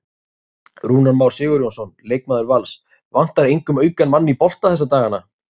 Rúnar Már Sigurjónsson, leikmaður Vals: Vantar engum auka mann í bolta þessa dagana?